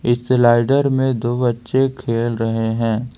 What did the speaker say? इस स्लाइडर में दो बच्चे खेल रहे हैं।